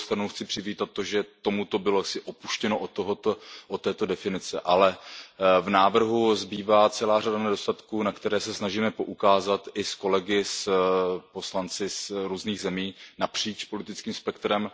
Na druhou stranu chci přivítat to, že bylo upuštěno od této definice, ale v návrhu zbývá celá řada nedostatků, na které se snažíme poukázat i s kolegy poslanci z různých zemí napříč politickým spektrem.